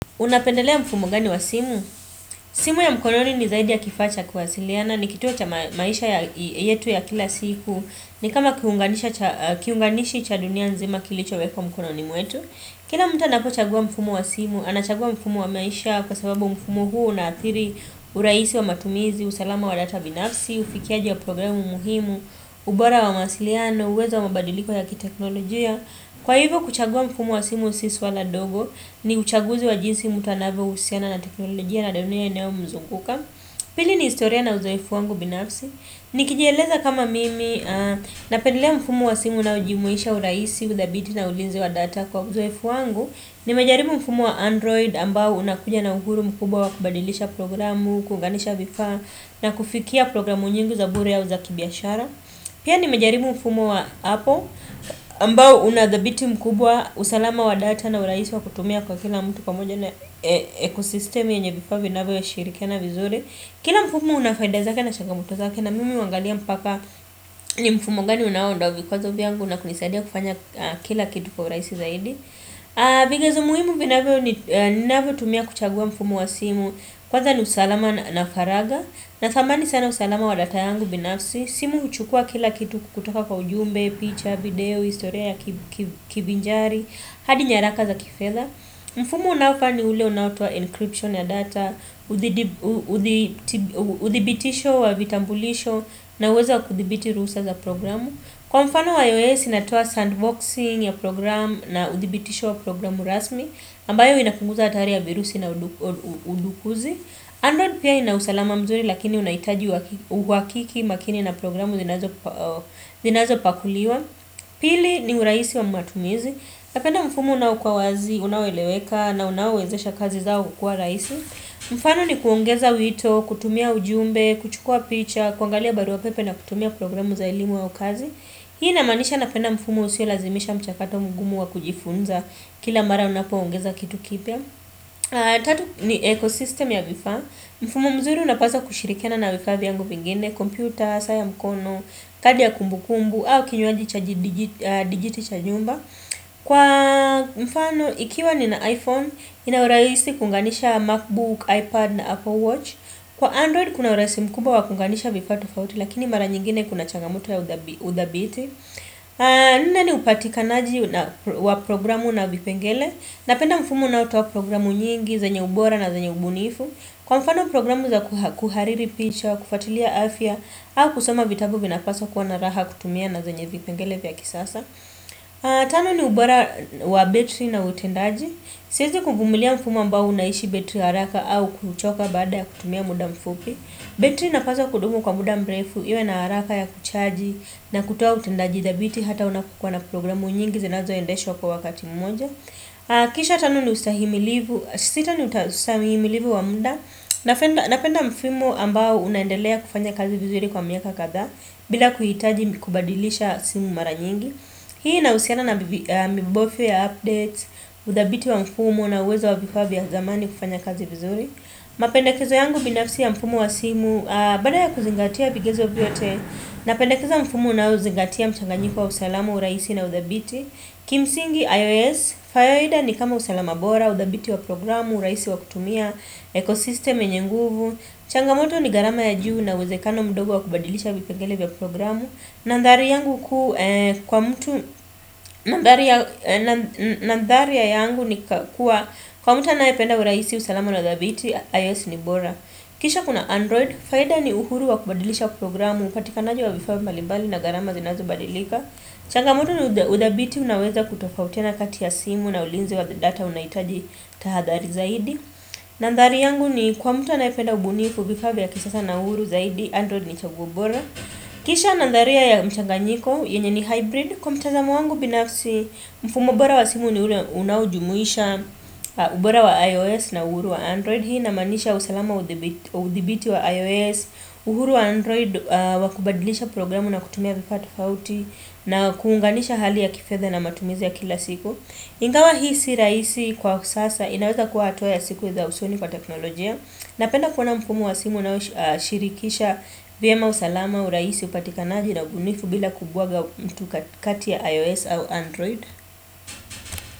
Unapendelea mfumo gani wa simu? Simu ya mkononi ni zaidi ya kifaa cha kuwasiliana ni kitu cha maisha yetu ya kila siku ni kama kiunganishi cha dunia nzima kilichowekwa mkononi mwetu Kila mtu anapochagua mfumo wa simu anachagua mfumo wa maisha kwa sababu mfumo huu unathiri urahisi wa matumizi, usalama wa data binafsi, ufikiaji wa programu muhimu ubora wa mawasiliano, uweza wa mabadiliko ya kiteknolojia Kwa hivyo kuchagua mfumo wa simu siswa la dogo ni uchaguzi wa jinsi mtu anayehusiana na teknolojia na dunia inayomzunguka Pili ni historia na uzoefu wangu binafsi Nikijieleza kama mimi napendelea mfumo wa simu unaojumuisha urahisi, uthabiti na ulinzi wa data kwa uzoefu wangu Nimejaribu mfumo wa android ambao unakuja na uhuru mkubwa wa kubadilisha programu, kuuganisha vifaa na kufikia programu nyingi za bure au za kibiashara Pia ni mejarimu mfumo wa Apple ambao unauthibiti mkubwa usalama wa data na urahisi wa kutumia kwa kila mtu pamoja na ekosistemi yenye vifaa vinavyoshirikiana vizuri Kila mfumo una faida zake na changamoto zake na mimi huangalia mpaka ni mfumo gani unaondoa vikwazo vyangu na kunisaidia kufanya kila kitu kwa urahisi zaidi Vigezo muhimu ninavyotumia kuchagua mfumo wa simu Kwaza ni usalama na faragha Natamani sana usalama wa data yangu binafsi simu huchukua kila kitu kutoka kwa ujumbe, picha, video, historia ya kivinjari hadi nyaraka za kifedha Mfumo unaofaa ni ule unaotoa encryption ya data uthibitisho wa vitambulisho na uwezo kuthibiti ruhusa za programu Kwa mfano wa iOS inatoa sandboxing ya programu na uthibitisho wa programu rasmi ambayo inapunguza hatari ya virusi na udukuzi Android pia ina usalama mzuri lakini unahitaji uhakiki makini na programu zinazopakuliwa Pili ni urahisi wa matumizi Napenda mfumo unaoukwa wazi, unaoeleweka na unaowezesha kazi zangu kuwa rahisi mfano ni kuongeza wito, kutumia ujumbe, kuchukua picha, kuangalia barua pepe na kutumia programu za elimu ya ukazi Hii namaanisha napenda mfumo usiolazimisha mchakato mgumu wa kujifunza kila mara unapoongeza kitu kipya Tatu ni ekosistem ya vifaa Mfumo mzuri unapaswa kushirikiana na vifaa vyangu vingine Computer, saa ya mkono, kadi ya kumbukumbu au kinywaji digit cha nyumba Kwa mfano ikiwa ni na iPhone ina urahisi kuunganisha Macbook, iPad na Apple Watch Kwa Android kuna urahisi mkumbwa wa kuunganisha vifaa tofauti Lakini mara nyingine kuna changamoto ya udhabiti Nne ni upatikanaji wa programu na vipengele Napenda mfumo unaotoa programu nyingi, zenye ubora na zenye ubunifu. Kwa mfano programu za kuhariri picha wa kufatilia afya au kusoma vitabu vinapaswa kuwa na raha kutumia na zenye vipengele vya kisasa. Tano ni ubora wa betri na utendaji. Siwezi kuvumilia mfumo ambao unaishi betri haraka au kuchoka bada ya kutumia muda mfupi. Betri inapaswa kudumu kwa muda mrefu, iwe na haraka ya kuchaji na kutoa utendaji dhabiti hata unapokuwa na programu nyingi zinazoendeshwa kwa wakati mmoja. Sita ni ustahimilivu wa muda. Napenda mfumo ambao unaendelea kufanya kazi vizuri kwa miaka kadhaa bila kuhitaji kubadilisha simu mara nyingi. Hii inahusiana na mibofyo ya update, udhabiti wa mfumo na uwezo wa vifaa vya zamani kufanya kazi vizuri. Mapendekezo yangu binafsi ya mfumo wa simu, baada ya kuzingatia vigezo vyote. Napendekeza mfumo unaozingatia mchanganyiko wa usalamu urahisi na udhabiti. Kimsingi iOS, faida ni kama usalama bora, udhabiti wa programu, urahisi wa kutumia, ekosistem yenye nguvu Changamoto ni gharama ya juu na uwezekano mdogo wa kubadilisha vipengele vya programu Nandhari yangu kwa mtu, nandhari yangu ni kuwa, kwa mtu anayependa urahisi, usalama, udhabiti, iOS ni bora Kisha kuna Android, faida ni uhuru wa kubadilisha programu, upatikanaji wa vifaa mbalimbali na gharama zinazobadilika Changamoto ni udhabiti unaweza kutofautiana kati ya simu na ulinzi wa data unahitaji tahadhali zaidi Nandhari yangu ni kwa mtu anayepeda ubunifu vifaa vya kisasa na uhuru zaidi Android ni chaguo bora Kisha nandhari ya mchanganyiko yenye ni hybrid Kwa mtazamo wangu binafsi mfumo bora wa simu ni ule unaojumuisha ubora wa iOS na uhuru wa Android Hii namaanisha usalama udhibiti wa iOS uhuru wa Android wakubadilisha programu na kutumia vifaa tofauti na kuunganisha hali ya kifedha na matumizi ya kila siku Ingawa hii si rahisi kwa sasa inaweza kuwa hatua ya siku za usoni kwa teknolojia Napenda kuona mfumo wa simu unaoshirikisha vyema usalama urahisi upatikanaji na ubunifu bila kubwaga mtu katia iOS au Android.